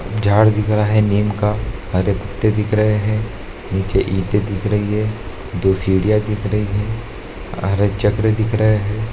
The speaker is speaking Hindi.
झाड़ दिख रहा है नीम का हरे पत्ते दिख रहे हैं नीचे ईंटे दिख रही हैं दो सीढ़ियां दिख रही है हरा चक्र दिख रहा है।